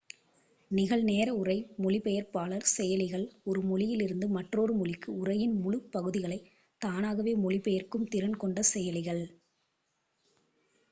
நிகழ்-நேர உரை மொழிபெயர்ப்பாளர் செயலிகள் ஒரு மொழியிலிருந்து மற்றொரு மொழிக்கு உரையின் முழு பகுதிகளைத் தானாகவே மொழிபெயர்க்கும் திறன் கொண்ட செயலிகள்